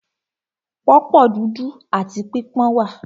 Pọ̀pọ́ dúdú áti pípọ́n wà.